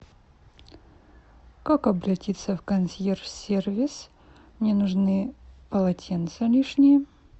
как обратиться в консьерж сервис мне нужны полотенца лишние